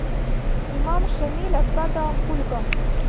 имам шамиль осада ахульго